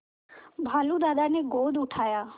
भालू दादा ने गोद उठाया